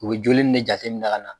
U bɛ joli ni de jateminɛ ka na.